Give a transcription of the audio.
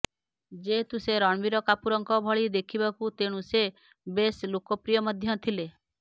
ଯେହେତୁ ସେ ରଣବୀର କାପୁରଙ୍କ ଭଳି ଦେଖିବାକୁ ତେଣୁ ସେ ବେଶ୍ ଲୋକପ୍ରିୟ ମଧ୍ୟ ଥିଲେ